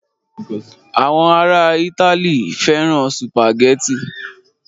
Àwọn ará Italy fẹ́ràn sùpàgẹ́tì.